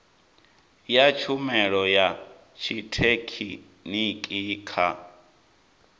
ya tshumelo ya tshithekhiniki kha